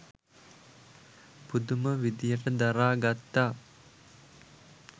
පුදුම විදිහට දරා ගත්තා.